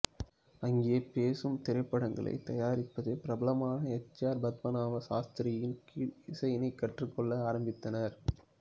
அங்கே பேசும் திரைப்படங்களைத் தயாரிப்பதில் பிரபலமான எச் ஆர் பத்மநாப சாஸ்திரியின் கீழ் இசையினைக் கற்றுக்கொள்ள ஆரம்பித்தனர்